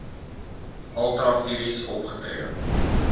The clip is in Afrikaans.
ultra vires opgetree